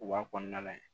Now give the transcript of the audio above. U b'a kɔnɔna lajɛ